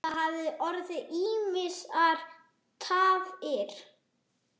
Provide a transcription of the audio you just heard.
Það hafa orðið ýmsar tafir.